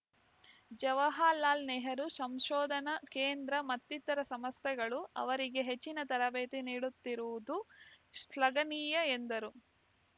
ಜವಹರಲಾಲ್ ನೆಹರು ಸಂಶೋಧನಾ ಕೇಂದ್ರ ಮತ್ತಿತರ ಸಂಸ್ಥೆಗಳು ಅವರಿಗೆ ಹೆಚ್ಚಿನ ತರಬೇತಿ ನೀಡುತ್ತಿರುವುದು ಶ್ಲಾಘನೀಯ ಎಂದರು